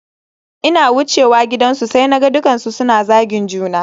Ina wucewa gidansu sai naga dukkansu suna zagin juna